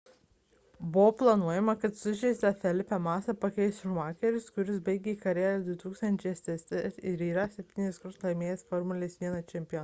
buvo planuojama kad sužeistą felipe massa pakeis schumacheris kuris baigė karjerą 2006 m ir yra septynis kartus laimėjęs formulės 1 čempionatą